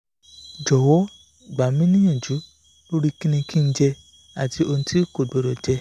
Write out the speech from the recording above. jowo gba mi ni iyanju lori kini ki n je ati ohun ti ko gbodo je